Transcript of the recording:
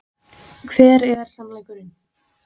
Hver er sannleikurinn?